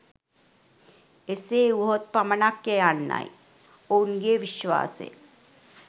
එසේ වුවහොත් පමණක්ය යන්නයි ඔවුන්ගේ විශ්වාසය.